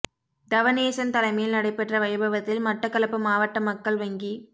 தவனேசன் தலைமையில் நடைபெற்ற வைபவத்தில் மட்டக்களப்பு மாவட்ட மக்கள் வங்கி